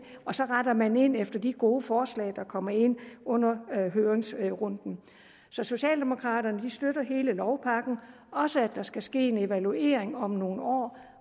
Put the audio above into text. og så retter man ind efter de gode forslag der kommer ind under høringsrunden så socialdemokraterne støtter hele lovpakken også det at der skal ske en evaluering om nogle år